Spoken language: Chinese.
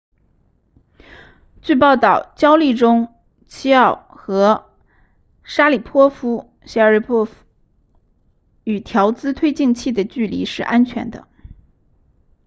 据报告焦立中 chiao 和沙里波夫 sharipov 与调姿推进器的距离是安全的